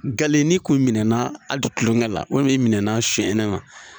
Galen n'i kun minɛnɛna a dilen la walima i minɛ na sonyɛnɛma